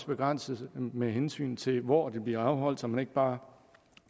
begrænses med hensyn til hvor de bliver afholdt så man ikke bare